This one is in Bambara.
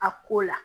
A ko la